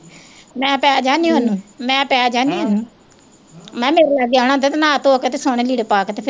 ਮੈਂ ਕਹਿ ਪੈ ਜਾਨੀ ਉਹਨੂੰ ਮੈਂ ਪੈ ਜਾਨੀ ਉਹਨੂੰ, ਮੈਂ ਕਿਹਾ ਮੇਰੇ ਲਾਗੇ ਆਉਣਾ ਤੇ ਨਹਾ ਧੋ ਕੇ ਤੇ ਸੋਹਣੇ ਲੀੜੇ ਪਾ ਕੇ ਤੇ ਫਿਰ